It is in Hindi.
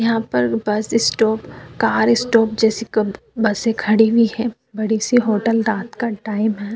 यहाँ पर बस स्टॉप कार स्टॉप जैसी क बसे खड़ी हुई हैं। बड़ी सी होटल रात का टाइम है।